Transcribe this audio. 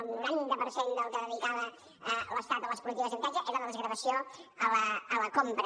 el noranta per cent del que dedicava l’estat a les polítiques d’habitatge era la desgravació a la compra